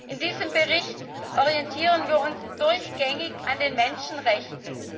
In diesem Bericht orientieren wir uns durchgängig an den Menschenrechten.